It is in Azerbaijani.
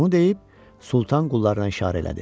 Bunu deyib Sultan qullarına işarə elədi.